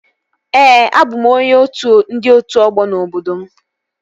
Ee, abụ m onye otu ndị otu ọgbọ n'obodo m